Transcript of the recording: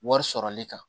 Wari sɔrɔli kan